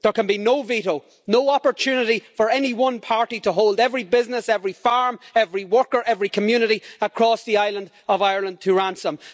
There can be no veto, no opportunity for any one party to hold every business, every farm, every worker, every community across the island of Ireland to ransom.